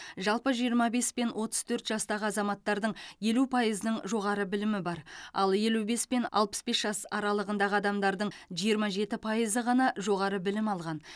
жалпы жиырма бес пен отыз төрт жастағы азаматтардың елу пайызының жоғары білімі бар ал елу бес пен алпыс бес жас аралығындағы адамдардың жиырма жеті пайызы ғана жоғары білім алған